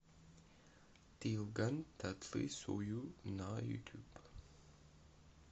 тыелган татлы сою на ютуб